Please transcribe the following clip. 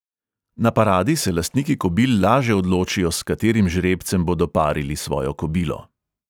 Na paradi se lastniki kobil laže odločijo, s katerim žrebcem bodo parili svojo kobilo.